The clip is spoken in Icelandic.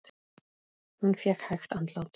Hún fékk hægt andlát.